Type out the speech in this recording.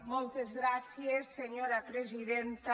moltes gràcies senyora presidenta